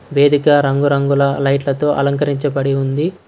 వేదిక రంగురంగుల లైట్లతో అలంకరించబడి ఉంది.